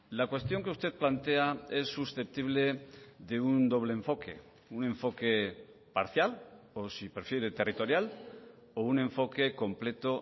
la cuestión que usted plantea es susceptible de un doble enfoque un enfoque parcial o si prefiere territorial o un enfoque completo